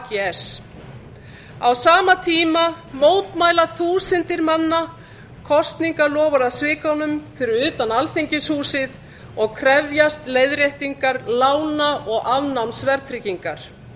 og ags á sama tíma mótmæla þúsundir manna kosningaloforðasvikunum fyrir utan alþingishúsið og krefjast leiðréttingar lána og afnáms verðtryggingar